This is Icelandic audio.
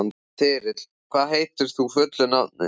Þyrill, hvað heitir þú fullu nafni?